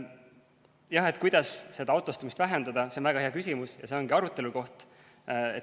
Jah, kuidas seda autostumist vähendada, see on väga hea küsimus ja see ongi arutelu koht.